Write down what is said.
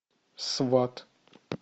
сват